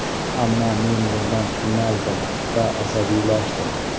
Ammo men bundan qiynaldim va asabiylashdim.